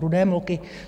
Rudé mloky.